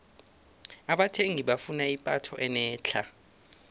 abathengi bafuna ipatho enetlha